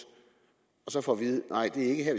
og så får vide at nej det er ikke her